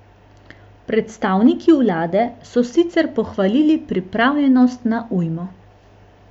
Predstavniki vlade so sicer pohvalili pripravljenost na ujmo.